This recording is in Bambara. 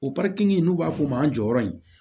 O pariki n'u b'a f'ɔ ma jɔyɔrɔ in